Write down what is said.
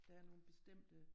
Der er nogen bestemte